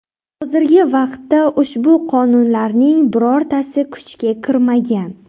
Hozirgi vaqtda ushbu qonunlarning birortasi kuchga kirmagan.